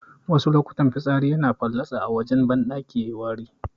Wasu lokutan fitsari yana fallatsa a wajen kwanon banɗaki yayiwari